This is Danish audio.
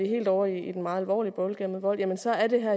helt over i den meget alvorlige boldgade med vold jamen så er det